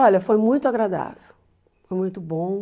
Olha, foi muito agradável, foi muito bom.